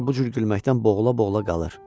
Hər dəfə də bu cür gülməkdən boğula-boğula qalır.